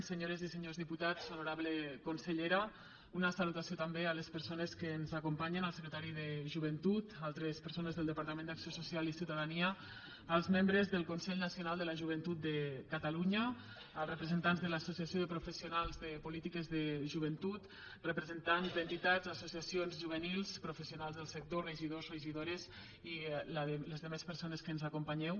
senyores i senyors diputats honorable consellera una salutació també a les persones que ens acompanyen al secretari de joventut altres persones del departament d’acció social i ciutadania als membres del consell nacional de la joventut de catalunya als representants de l’associació de professionals de polítiques de joventut representants d’entitats associacions juvenils professionals del sector regidors regidores i la resta de persones que ens acompanyeu